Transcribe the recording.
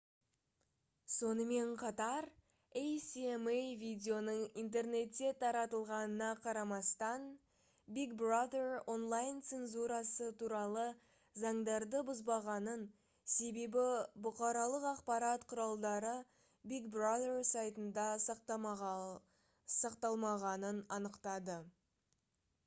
сонымен қатар асма видеоның интернетте таратылғанына қарамастан big brother онлайн-цензурасы туралы заңдарды бұзбағанын себебі бұқаралық ақпарат құралдары big brother сайтында сақталмағанын анықтады